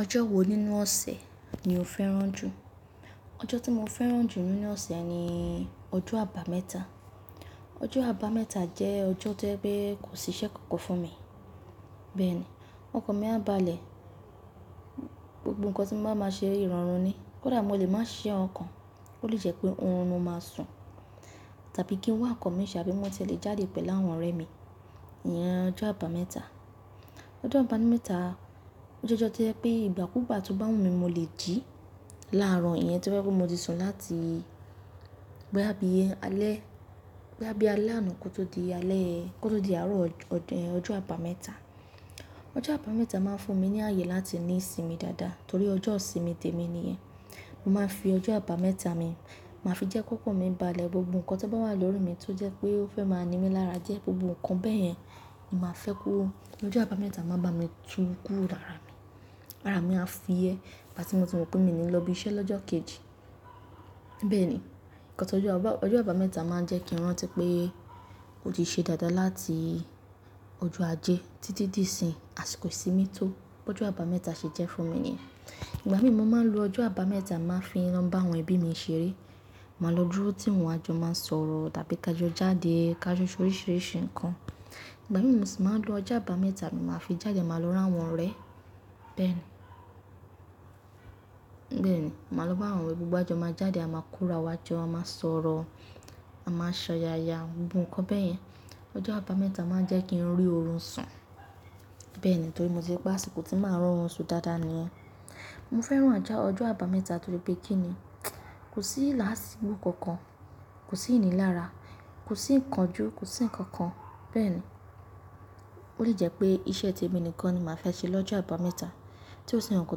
Ọjọ́ wo nínú ọ̀sẹ̀ ni o fẹ́ràn jù? Ọjọ́ tí mo fẹ́ràn jù nínú ọ̀sẹ̀ ni ọjọ́ àbámẹ́ta. Ọjọ́ àbámẹ́ta jẹ́ ọjọ́ tó jẹ́ pé kò sí iṣẹ́ kankan fún mi. Bẹ́ẹ̀ ni, ọkan mi a báàlẹ̀, gbogbo nǹkan tí mo bá máa ṣe ìrọ̀rùn ni. Kódà mo lè máa ṣe ise nkan kan, ó lè jẹ́ pé oorun ni mo máa sùn tàbí kí n wá nkan mi ṣe abi mo tiẹ le jáde pẹ̀lú àwọn ọ̀rẹ́ mi. Iyẹn ọjọ́ àbámẹ́ta. Ọjọ́ àbámẹ́ta jẹ́ ọjọ́ tó jẹ́ pé ìgbà kúùgbà tó bá wù mí ni mo lè jí láàro iyẹn tí ó jẹ́ pé mo ti sùn láti boyá bí alẹ́, boya bí alẹ́ àná kó tó di alẹ́, kó tó di àárọ̀ ọjọ́ àbámẹ́ta. Ọjọ́ àbámẹ́ta máa ń fún mi ní ààyè láti ní ìsinmi dáadáa torí ọjọ́ ìsinmi tèmi nìyẹn. Mo máa ń fi ọjọ́ àbámẹ́ta mi, màá fi jẹ́ ki okan mi ń bá a lẹ gbogbo nǹkan tó bá wà lórí mi tó jẹ́ pé ó fẹ́ máa ni mí lára die gbogbo nǹkan bẹ́ẹ̀ yẹn ni màá fẹ́ kó. Ọjọ́ àbámẹ́ta máa bá mi tu kúùn iranu. Àrá mi a fuyẹ̀ nígbà tí mo ti mọ̀ pé mi ní lọ́ bí iṣẹ́ lọ́jọ́ kejì. Bẹ́ẹ̀ ni, nǹkan tó jẹ́ pé ọjọ́ àbámẹ́ta máa ń jẹ́ kí n rántí pé ó ti ṣe dáadáa láti ọjọ́ ajé títí di ìsìn àsìkò ìsinmi tó. Ọjọ́ àbámẹ́ta ṣe jẹ́ fún mi nìyẹn. Ìgbà mì mo máa ń lo ọjọ́ àbámẹ́ta máa ń fi lọ bá àwọn ẹbí mi ṣeré. Màá lọ dúró tí wọn àjọ máa sọ̀rọ̀ tàbí ká jọ jáde ká lo jọ ṣe oríṣìíríṣìí nǹkan. Ìgbà mì mo sì máa ń lo ọjọ́ àbámẹ́ta n màá fi jáde màá lọ ri àwọn ọ̀rẹ́. Bẹ́ẹ̀ ni. Bẹ́ẹ̀ ni, màá lọ bá àwọn ọ̀rẹ́ gbogbo wà jọ máa jáde, a máa korò wa wá jọ a máa sọ̀rọ̀, a máa ṣọ́ya ya gbogbo nǹkan bẹ́ẹ̀ yẹn. Ọjọ́ àbámẹ́ta máa ń jẹ́ kí n rí oorun sun. Bẹ́ẹ̀ ni torí mo ti ri pé àsìkò tí màá ro oorun sùn dáadáa nìyẹn. Mo fẹ́ràn ajà ọjọ́ àbámẹ́ta torí pé kí ni, kò sí láásìgbò kankan, kò sí ìni lara, kò sí ǹkan jú, kò sí ǹkan kan. Bẹ́ẹ̀ ni. Ó lè jẹ́ pé iṣẹ́ ti èmi nìkan ni màá fẹ́ ṣe lọ́jọ́ àbámẹ́ta tí ó sì ń kàn kó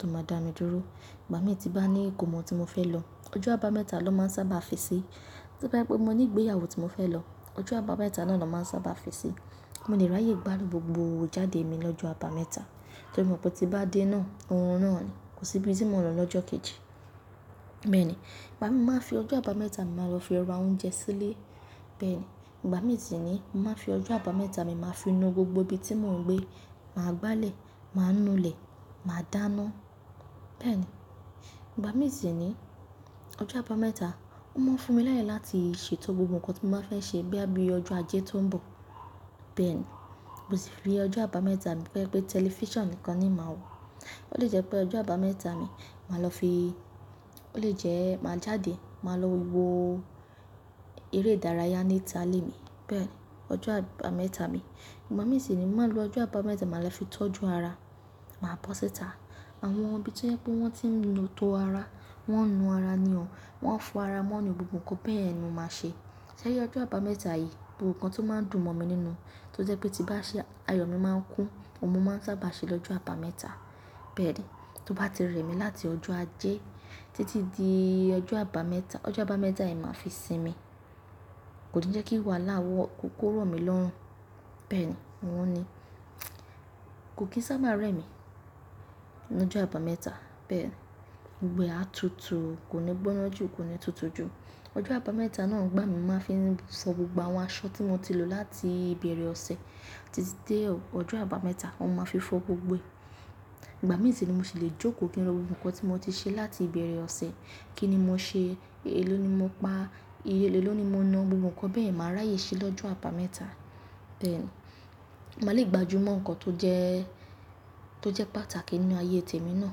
tó máa dá mi dúró. Ìgbà mì tí bá ní ìkomo tí mo fẹ́ lọ, ọjọ́ àbámẹ́ta ló máa ń sábà fi sí i. To bá jẹ́ pé mo ní ìgbéyàwó tí mo fẹ́ lọ, ọjọ́ àbámẹ́ta náà ló máa ń sábà fi sí i. Mo lè ráyè gbádùn gbogbo ijáde mi lọ́jọ́ àbámẹ́ta torí mo mọ̀ pé tí n bá dé náà, oorun náà ni, kò sí ibi tí mò ń lọ lọ́jọ́ kejì. Bẹ́ẹ̀ ni, ìgbà mì mo máa ń fi ọjọ́ àbámẹ́ta mi màá lọ fi ra oúnjẹ sílé. Bẹ́ẹ̀ ni, ìgbà mì sì ni, mo màá n fi ọjọ́ àbámẹ́ta mi màá fi nu gbogbo ibi tí mò ń gbé, màá gbálẹ̀, màá nu ilẹ̀, màá dáná. Bẹ́ẹ̀ ni. Ìgbà mì sì ni, ọjọ́ àbámẹ́ta ó máa ń fún mi láyè láti ṣe tó gbogbo nǹkan tí mo bá fẹ́ ṣe boya bí i ọjọ́ ajé tó ń bọ̀. Bẹ́ẹ̀ ni. Mo sì fi ọjọ́ àbámẹ́ta mi pé tí o je pe tẹlifíṣàn nìkan ni oun màá wò. Ó lè jẹ́ pé ọjọ́ àbámẹ́ta mi màá lọ fi-- ó lè jẹ́ màá jáde, màá lọ wo gbogbo eré ìdárayá níta lé mi. Bẹ́ẹ̀ ni ọjọ́ àbámẹ́ta mi. Ìgbà mì sì ni, mo màá lo ọjọ́ àbámẹ́ta màá lọ fi tọ́jú ara, màá bọ́ sítá. Àwọn ibi tí o je pé wọ́n tí ń lo tó ara, wọ́n ń nu ara ni o, wọ́n ń fo ara mọ́ni gbogbo nǹkan bẹ́yen ni mo máa ṣe. Ṣẹ́ri ọjọ́ àbámẹ́ta yìí gbogbo nǹkan tó máa ń dùn mọ̀ mi nínú tó jẹ́ pé tí bá ṣe ayọ̀ mi máa ń kún, òun mo máa ń sábà ṣe lọ́jọ́ àbámẹ́ta. Bẹ́ẹ̀ ni, tó bá ti re mí láti ọjọ́ ajé títí di ọjọ́ àbámẹ́ta, ọjọ́ àbámẹ́ta yen màá fi sinmi. Kò ni jẹ́ kí wàhálà wo kó ró mi lọ́hùn. Bẹ́ẹ̀ ni, òun ni, kò kì í sábà rẹ́ mi lọ́jọ́ àbámẹ́ta. Bẹ́ẹ̀ ni, gbogbo ẹ á tutù, kò ní gbóná jù, kò ní tutù jù. Ọjọ́ àbámẹ́ta náà ń gbà mí máa fi sọ gbogbo àwọn aṣọ tí mo ti lò láti ìbẹ̀rẹ̀ ọ̀sẹ̀ títí dé ọjọ́ àbámẹ́ta, ohun máa fi fọ gbogbo ẹ̀. Ìgbà mì sì ni mo sì lè jókòó kí n lo wo gbogbo nǹkan tí mo ti ṣe láti ìbẹ̀rẹ̀ ọ̀sẹ̀, kí ni mo ṣe, èló ni mo pa, iye èló ni mo na gbogbo nǹkan bẹ́ yen màá ráyè ṣe lọ́jọ́ àbámẹ́ta. Bẹ́ẹ̀ ni, màá le gbajúmọ̀ nǹkan tó jẹ́, tó jẹ́ pàtàkì nínú ayé tèmi náà,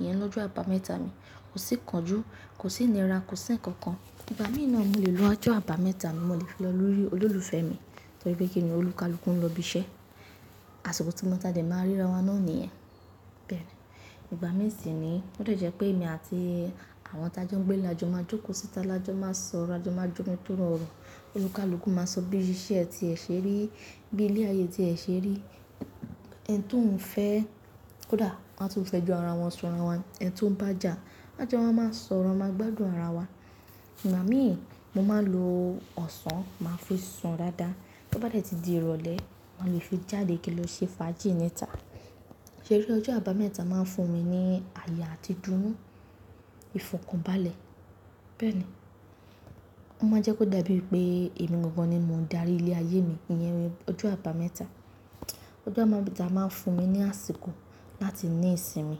iyẹn lọ́jọ́ àbámẹ́ta mi. Kò sí ǹkan jú, kò sí ìnira, kò sí ǹkan kan. Ìgbà mì na mo lè lo ọjọ́ àbámẹ́ta mi, mo lè fi lọ lórí olólùfẹ́ mi torí pé kí ni olukaluku nlo ibí iṣẹ́, àsìkò tí mo tàdé máa ń ríra wọn náà ni iyẹn. Bẹ́ẹ̀ ni. Ìgbà mì sì ni ó lè jẹ́ pé èmi àti àwọn tajo gbé ile la jọ máa jókòó síta la jọ máa sọ̀rọ̀ a jọ máa jónu tó rọrùn. Oni kaluku máa sọ ibí iṣẹ́ tí ẹ ṣe rí, bí i ilé ayé tí ẹ ṣe rí, ẹni tí òun fẹ́, kódà wọ́n á tún fẹ́ jọ ara wọn sun rawa, ẹni tí òun bá jà, lájọọ̀ má ma sọ̀rọ̀, a máa gbádùn ara wa. Ìgbà mì, mo máa ń lo ọsàn máa fi sun dáadáa. Tó bá dẹ̀ tí di ìrọ̀lẹ́, mo lè fi jáde kí n lọ ṣe fàájì níta. Ṣẹ́ri ọjọ́ àbámẹ́ta máa ń fún mi ní àye àti ìdúnu, ìfọ̀kànbalẹ̀. Bẹ́ẹ̀ ni. Ó máa ń jẹ́ kó dàbí pé èmi gangan ni mo ń darí ilé ayé mi, iyẹn ọjọ́ àbámẹ́ta. Ọjọ́ àbámẹ́ta máa ń fún mi ní àsìkò láti ní ìsinmi.